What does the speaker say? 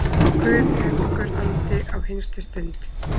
Guð helgur andi, á hinstu stund